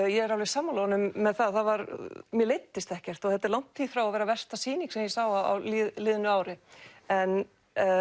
ég er alveg sammála honum með það mér leiddist ekkert og þetta er langt í frá að vera versta sýning sem ég sá á liðnu ári en